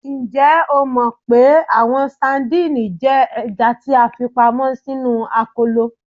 Njẹ o mọ pe awọn sadìnìnnì jẹ ẹja ti a fipamọ sinu akolo?